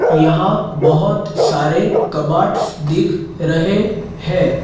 यहां बहोत सारे कबाड दिख रहे हैं।